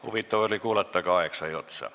Huvitav oli kuulata, aga aeg sai otsa.